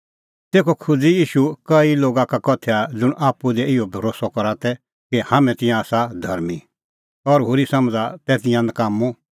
तेखअ खोज़अ ईशू कई लोगा लै उदाहरण ज़ुंण आपणैं आप्पू भरोस्सअ डाहा तै कि हाम्हैं आसा धर्मीं और होरी समझ़ा तै तिंयां नकाम्मअ